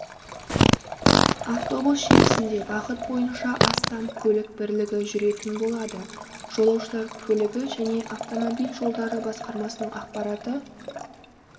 автобус желісінде бағыт бойынша астам көлік бірлігі жүретін болады жолаушылар көлігі және автомобиль жолдары басқармасының ақпараты